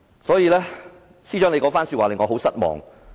所以，司長那番說話令我很失望。